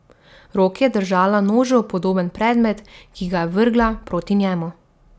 V roki je držala nožu podoben predmet, ki ga je vrgla proti njemu.